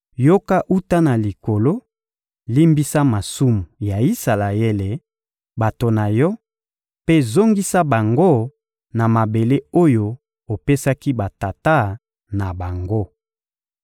yoka wuta na Likolo, limbisa masumu ya Isalaele, bato na Yo, mpe zongisa bango na mabele oyo opesaki batata na bango.